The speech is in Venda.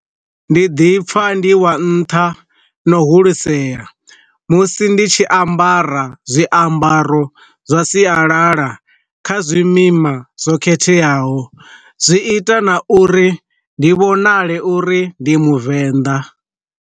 Ndi ḓipfa ndi wa nntha na hulisea musi ndi tshi ambara zwiambaro zwa sialala kha zwimima zwo khetheaho, zwi ita na uri ndi vhonale uri ndi muvenḓa.